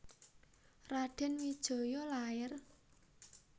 Radèn Wijaya lair